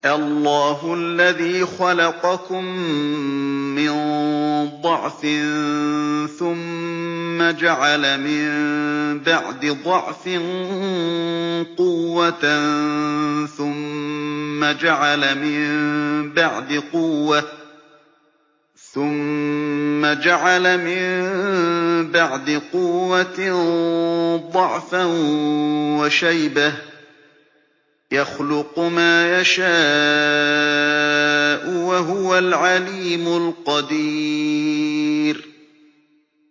۞ اللَّهُ الَّذِي خَلَقَكُم مِّن ضَعْفٍ ثُمَّ جَعَلَ مِن بَعْدِ ضَعْفٍ قُوَّةً ثُمَّ جَعَلَ مِن بَعْدِ قُوَّةٍ ضَعْفًا وَشَيْبَةً ۚ يَخْلُقُ مَا يَشَاءُ ۖ وَهُوَ الْعَلِيمُ الْقَدِيرُ